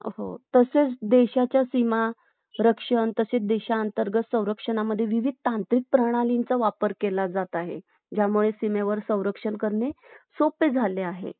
अशाच पद्धतीने डोंगराळ प्रदेशात राहणाऱ्या आणि मैदानी प्रदेशात राहणाऱ्या लोकांच्या जीवनपध्दतीतील इतर गोष्टींमध्येही फरक आढळतो.